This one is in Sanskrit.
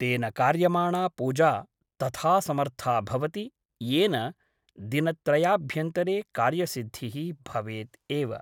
तेन कार्यमाणा पूजा तथा समर्था भवति , येन दिनत्रयाभ्यन्तरे कार्यसिद्धिः भवेत् एव ।